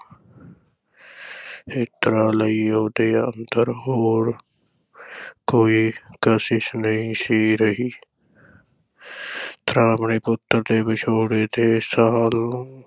ਇੱਛਰਾਂ ਲਈ ਉਹਦੇ ਅੰਦਰ ਹੋਰ ਕੋਈ ਕਸ਼ਿਸ਼ ਨਹੀਂ ਸੀ ਰਹੀ ਪੁੱਤ ਦੇ ਵਿਛੋੜੇ ਦੇ ਸੱਲ ਨੂੰ